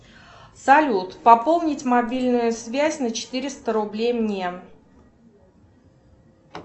салют пополнить мобильную связь на четыреста рублей мне